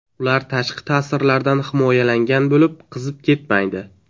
Ular tashqi ta’sirlardan himoyalangan bo‘lib, qizib ketmaydi.